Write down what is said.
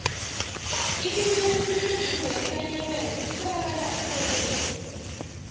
ilitje lesikhumbuzo likanyabela litholakala erholweni